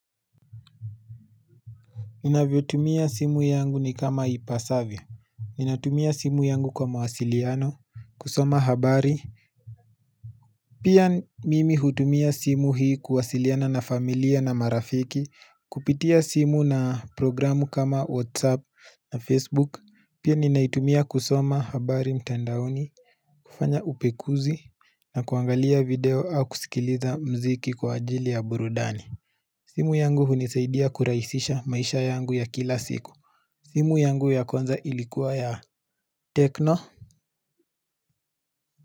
Inavyotumia simu yangu ni kama ipasavyo Ninatumia simu yangu kwa mawasiliano, kusoma habari, Pia mimi hutumia simu hii kuwasiliana na familia na marafiki, Kupitia simu na programu kama whatsapp na facebook, Pia ninaitumia kusoma habari mtandaoni. Kufanya upekuzi na kuangalia video au kusikiliza mziki kwa ajili ya burudani simu yangu hunisaidia kurahisisha maisha yangu ya kila siku, simu yangu ya kwanza ilikuwa ya tekno.